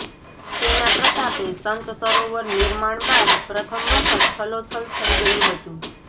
તેના પ્રતાપે સંત સરોવર નિર્માણ બાદ પ્રથમ વખત છલોછલ થઇ ગયું હતું